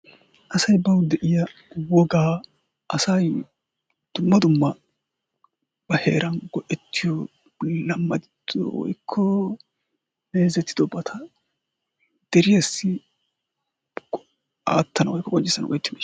asa baw de'iya wogaa asayyo dumma dumma ba heran go''ettiyo lamadettido woykko meezetidoobata deriyassi aattanaw woykko qonccissanaw qonccissiyo ...